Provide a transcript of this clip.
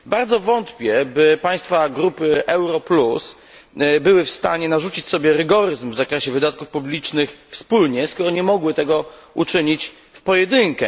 Bardzo wątpię, by państwa grupy euro plus były w stanie narzucić sobie rygoryzm w zakresie wydatków publicznych wspólnie, skoro nie mogły tego uczynić w pojedynkę.